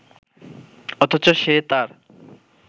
অথচ সে তার